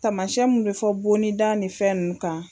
Taamasiyɛn mun bɛ fɔ bonni da nin fɛn ninnu kan